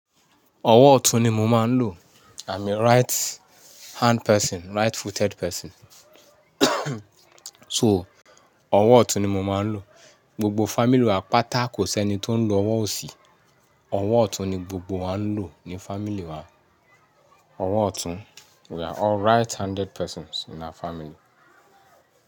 Ọwọ́ ọ̀tún ni mo máa ń lò. I'm a right hand person, right footed person. So, ọwọ́ ọ̀tún ni mo máa ń lò. Gbogbo family wa pátá kò sí ẹni tó ń lò ọwọ́ òsì, ọwọ́ ọ̀tún ni gbogbo wa ń lò ní family wa. Ọwọ́ ọ̀tún. We are all right handed persons in our family.